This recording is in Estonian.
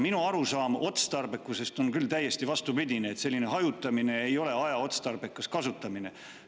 Minu arusaam otstarbekusest on küll täiesti vastupidine: selline hajutamine ei ole aja otstarbekas kasutamine.